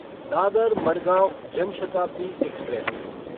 Dadar Madgaon Jan Shatabdi express